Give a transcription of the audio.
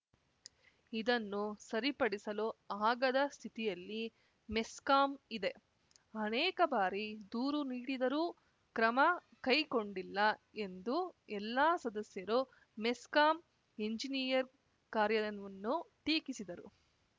ಇದನ್ನು ಸರಿಪಡಿಸಲು ಆಗದ ಸ್ಥಿತಿಯಲ್ಲಿ ಮೆಸ್ಕಾಂ ಇದೆ ಅನೇಕ ಬಾರಿ ದೂರು ನೀಡಿದರೂ ಕ್ರಮಕೈಗೊಂಡಿಲ್ಲ ಎಂದು ಎಲ್ಲಾ ಸದಸ್ಯರು ಮೆಸ್ಕಾಂ ಎಂಜಿನಿಯರ್‌ ಕಾರ್ಯವನ್ನು ಟೀಕಿಸಿದರು